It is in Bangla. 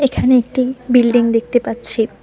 এখানে একটি বিল্ডিং দেখতে পাচ্ছি।